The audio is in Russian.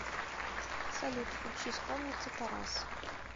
салют включи скромница тарас